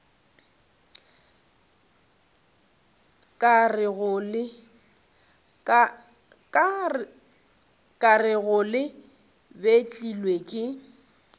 ka rego le betlilwe ke